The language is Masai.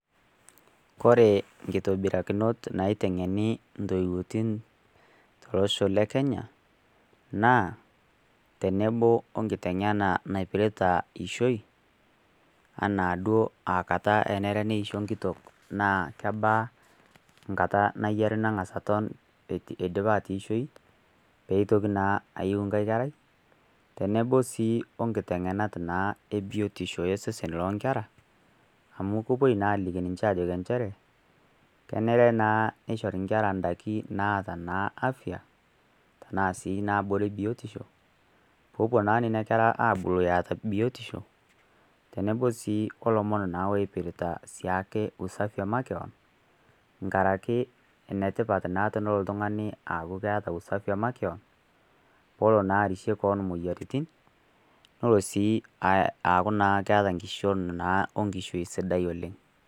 Kore inkitobirakinot naiteng'eni intooiwotin tolosho le Kenya naa, tenebo o nkiteng'ena naipirita eishoi anaa duo na kata enare neisho enkitok naa kebaa eenkata nayiare nang'as aton eidipa atoishoyu, pee eitoki naa ainoto enkai kerai, tenebo sii o nkiteng'enata naa e biotisho osesen loo inkera, amu kepuoi naa ninye aliki niche ke enchere, kenare naa nepuoi aisho naa inkera indaiki naata naa afia , anaa sii naabore biotisho, pee epuo naa nena kera aabulu eata biotisho, tenebo naa o ilomon oipirita siake ilomon le makewan inkaraki enetipat naa tenelo naa iltungani aaku keeta usafi e makewan, peelo naa arishie kewon imoyiaritin, nelo naa aaku keata naa enkishon o nkishui sidai oleng'.